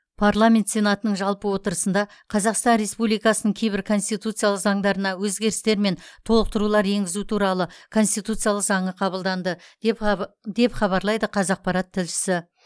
парламент сенатының жалпы отырысында қазақстан республикасының кейбір конституциялық заңдарына өзгерістер мен толықтырулар енгізу туралы конституциялық заңы қабылданды деп хаб деп хабарлайды қазақпарат тілшісі